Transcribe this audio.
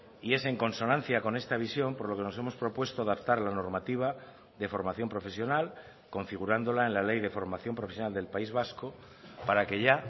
y es en consonancia con esta visión por lo que nos hemos propuesto adaptar la normativa de formación profesional configurándola en la ley de formación profesional del país vasco para que ya